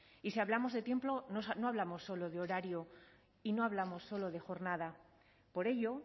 y si hablamos de tiempo no hablamos solo de horario y no hablamos solo de jornada por ello